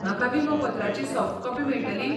म्हाका विमोपत्राची soft copy मेळटली?